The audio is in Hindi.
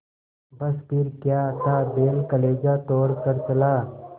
बस फिर क्या था बैल कलेजा तोड़ कर चला